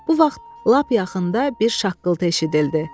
Bu vaxt lap yaxında bir şaqqıltı eşidildi.